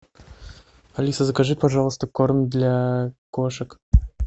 алиса закажи пожалуйста корм для кошек